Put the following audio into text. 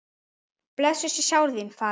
Blessuð sé sál þín, faðir